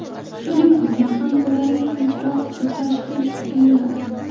Shuning uchun ham ularga kechroq tashxis qo‘yiladi.